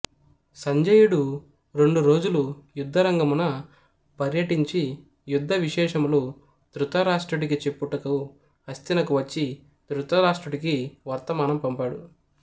సంజయుడు రెండు రోజులు యుద్ధరంగమున పర్యటించి యుద్ధ విశేషములు ధృతరాష్ట్రుడికి చెప్పుటకు హస్థినకు వచ్చి ధృతరాష్ట్రుడికి వర్తమానం పంపాడు